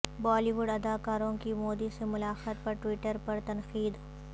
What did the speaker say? بالی would اداکاروں کی مودی سے ملاقات پر ٹوئٹر پر تنقید